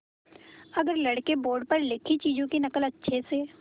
अगर लड़के बोर्ड पर लिखी चीज़ों की नकल अच्छे से